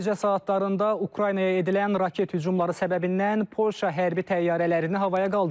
Gecə saatlarında Ukraynaya edilən raket hücumları səbəbindən Polşa hərbi təyyarələrini havaya qaldırıb.